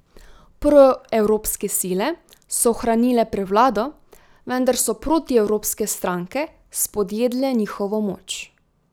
Proevropske sile so ohranile prevlado, vendar so protievropske stranke spodjedle njihovo moč.